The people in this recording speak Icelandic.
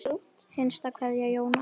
Hinsta kveðja Jón Axel.